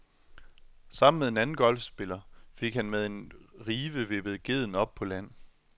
Sammen med en anden golfspiller fik han med en rive vippet gedden op på land.